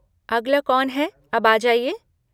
अगला कौन है अब आ जाइए!